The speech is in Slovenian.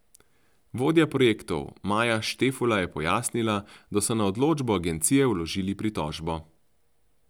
Vodja projektov Maja Štefula je pojasnila, da so na odločbo agencije vložili pritožbo.